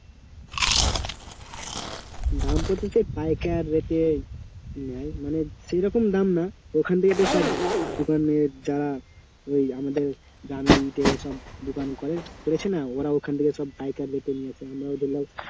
দামপত্র সে পাইকার rate এ নেয় মানে সেইরকম দাম না ওখান থেকে তো সব দোকানের যারা ওই আমাদের গ্রামের ইটের সব দোকান করে করেছে না ওরা ওখান থেকে সব পাইকার rate এ নিয়ে আসে আমরা ওদের~